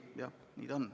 Jah, nii ta on.